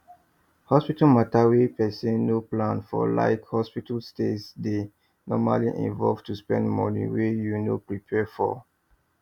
hospital matter wey person no plan forlike hospital stays dey normally involve to spend money wey you no prepare for